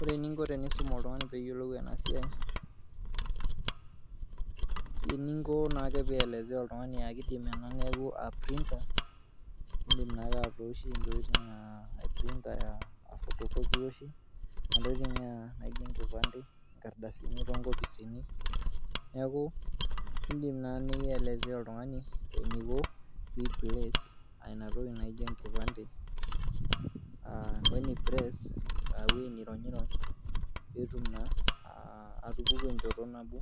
Ore eninko tenisum oltungani peyiolou ena siai , eninko naake pielezea oltungani akiti amu ore ena naa printer ,indim naake atooshie ntokitin naijo enkipande, inkadasini toonkopisini . niaku indim naa nielezea oltungani eniko pi place ina toki naijo enkipande , weni press aa ewuei nironyrony petum naa atupuku enchoto nabo .